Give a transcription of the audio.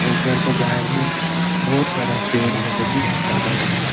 और घर को बाहर में बहुत सारा पेड़ है सभी दिखाई दे रहे हैं।